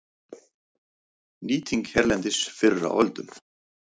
Nýting hérlendis fyrr á öldum